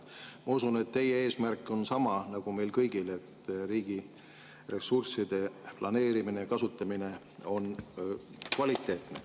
Ma usun, et teie eesmärk on sama nagu meil kõigil, et riigi ressursside planeerimine ja kasutamine oleks kvaliteetne.